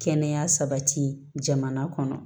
Kɛnɛya sabati jamana kɔnɔ